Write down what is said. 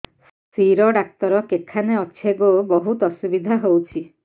ଶିର doctor କେଖାନେ ଅଛେ ଗୋ ବହୁତ୍ ଅସୁବିଧା ହଉଚି